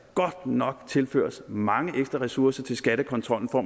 nok skal tilføres mange ekstra ressourcer til skattekontrollen for